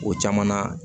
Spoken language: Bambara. O caman na